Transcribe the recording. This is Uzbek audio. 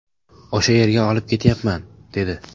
O‘sha yerga olib ketyapman’ dedi.